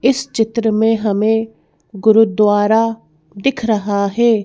इस चित्र में हमें गुरुद्वारा दिख रहा है।